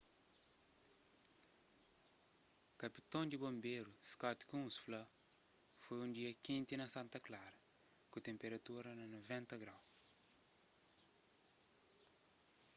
kapiton di bonberu scott kouns fla: foi un dia kenti na santa clara ku tenperatura na 90º